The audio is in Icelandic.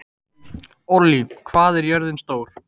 Ollý, hvað er jörðin stór?